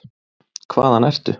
Hvaðan ertu?